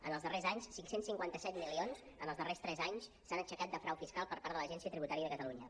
en els darrers anys cinc cents i cinquanta set milions en els darrers tres anys s’han aixecat de frau fiscal per part de l’agència tributària de catalunya